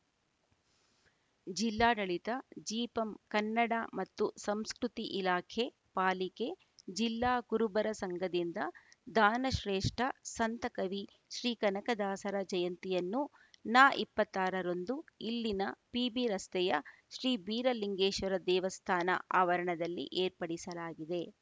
ಜಿಲ್ಲಾಡಳಿತ ಜಿಪಂ ಕನ್ನಡ ಮತ್ತು ಸಂಸ್ಕೃತಿ ಇಲಾಖೆ ಪಾಲಿಕೆ ಜಿಲ್ಲಾ ಕುರುಬರ ಸಂಘದಿಂದ ದಾನಶ್ರೇಷ್ಠ ಸಂತಕವಿ ಶ್ರೀ ಕನಕ ದಾಸರ ಜಯಂತಿಯನ್ನು ನ ಇಪ್ಪತ್ತಾರರಂದು ಇಲ್ಲಿನ ಪಿಬಿ ರಸ್ತೆಯ ಶ್ರೀ ಬೀರಲಿಂಗೇಶ್ವರ ದೇವಸ್ಥಾನ ಆವರಣದಲ್ಲಿ ಏರ್ಪಡಿಸಲಾಗಿದೆ